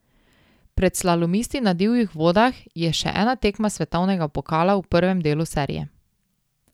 Pred slalomisti na divjih vodah je še ena tekma svetovnega pokala v prvem delu serije.